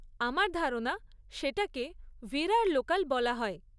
আমার ধারণা সেটাকে ভিরার লোকাল বলা হয়।